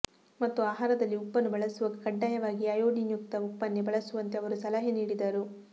ಮತ್ತು ಆಹಾರದಲ್ಲಿ ಉಪ್ಪನ್ನು ಬಳಸುವಾಗ ಕಡ್ಡಾಯವಾಗಿ ಅಯೋಡಿನ್ಯುಕ್ತ ಉಪ್ಪನ್ನೇ ಬಳಸುವಂತೆ ಅವರು ಸಲಹೆ ನೀಡಿದರು